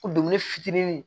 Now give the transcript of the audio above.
Ko dumuni fitinin